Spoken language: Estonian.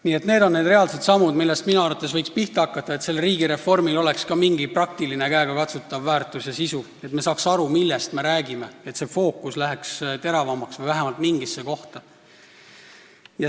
Nii et need on need reaalsed sammud, millest minu arvates võiks pihta hakata, et riigireformil oleks ka mingi praktiline käegakatsutav väärtus ja sisu, et me saaks aru, millest me räägime, et fookus läheks teravamaks või läheks vähemalt mingisse kohta.